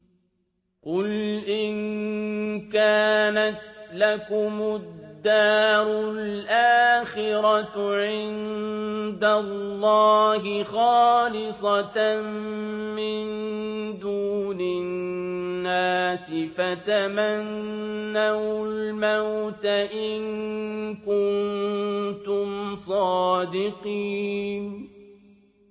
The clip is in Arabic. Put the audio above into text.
قُلْ إِن كَانَتْ لَكُمُ الدَّارُ الْآخِرَةُ عِندَ اللَّهِ خَالِصَةً مِّن دُونِ النَّاسِ فَتَمَنَّوُا الْمَوْتَ إِن كُنتُمْ صَادِقِينَ